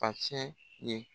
Pasɛ ye.